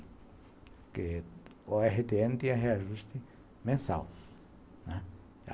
Porque a o erre tê ene tinha reajuste mensal, né.